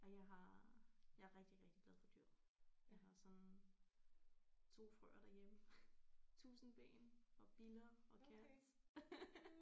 Ej jeg har jeg er rigtig rigtig glad for dyr. Jeg har sådan 2 frøer derhjemme tusindben og biller og cats